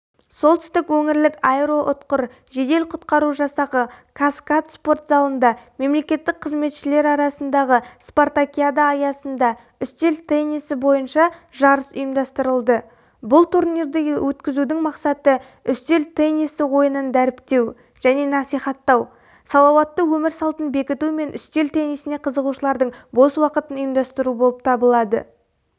солтүстік өңірлік аэроұтқыр жедел-құтқару жасағы кат-каз спорт залында мемлекеттік қызметшілер арасындағы спартакиада аясында үстел теннисі бойынша жарыс ұйымдастырылды бұл турнирді өткізудің мақсаты үстел теннисі ойынын дәріптеу және насихаттау салауатты өмір салтын бекіту мен үстел теннисіне қызығушылардың бос уақытын ұйымдастыру болып табылады